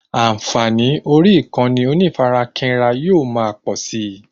Ànfààní orí ìkànnì onífarakínra yóò ma pọ̀si